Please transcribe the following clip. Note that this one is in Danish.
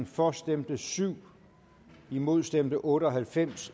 for stemte syv imod stemte otte og halvfems